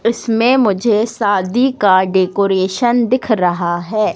इसमें मुझे शादी का डेकोरेशन दिख रहा है।